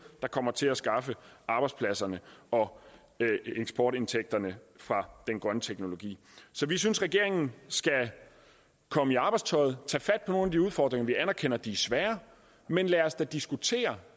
der kommer til at skaffe arbejdspladserne og eksportindtægterne fra den grønne teknologi så vi synes regeringen skal komme i arbejdstøjet tage fat på nogle af de udfordringer vi anerkender de er svære men lad os da diskutere